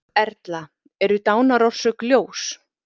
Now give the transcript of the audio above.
Erla: Eru dánarorsök ljós?